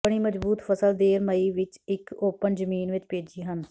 ਬਣੀ ਮਜ਼ਬੂਤ ਫਸਲ ਦੇਰ ਮਈ ਵਿੱਚ ਇੱਕ ਓਪਨ ਜ਼ਮੀਨ ਵਿੱਚ ਭੇਜੀ ਹਨ